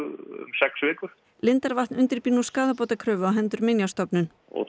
sex vikur lindarvatn undirbýr nú skaðabótakröfu á hendur Minjastofnun og